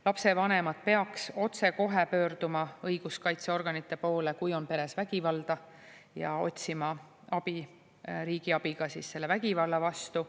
Lapsevanemad peaks pöörduma õiguskaitseorganite poole otsekohe, kui peres on vägivalda, ja otsima abi, riigi abi selle vägivalla vastu.